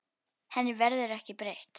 Henni verður ekki breytt.